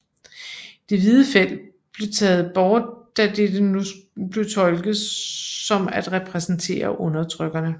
Det hvide felt blev taget bort da dette nu blev tolket som at repræsentere undertrykkerne